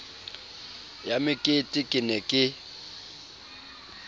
ya mekete ke ne ke